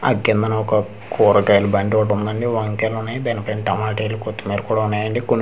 ఆ కిందనా ఒక కూరగాయల బండి ఒకటి ఉందండి వంకాయలు ఉన్నాయి దాని పైన టమాటలు కొత్తిమీర కూడా ఉన్నాయి అండి కొన్ని బై--